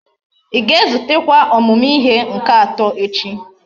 Íga ezutekwa omumu ihe nke ato echi?